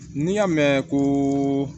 N'i y'a mɛn ko